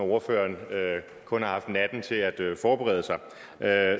ordføreren kun har haft natten til at forberede sig